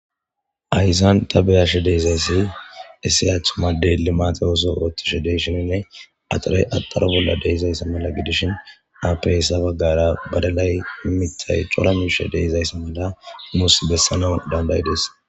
Hayssan ta beyashe deezayssi issiyathu made limaate oso oothtishe deyshininne axarey axaro bolla deezayssi mala gidishin afeyssa baggara badalay imittay cora mishe deezayssi mala muus bessanau dandayides